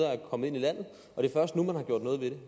er kommet ind i landet